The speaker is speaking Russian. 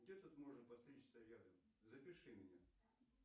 где тут можно подстричься рядом запиши меня